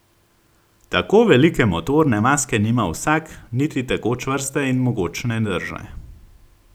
Tako velike motorne maske nima vsak, niti tako čvrste in mogočne drže!